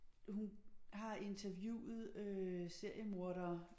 Hun har interviewet øh seriemordere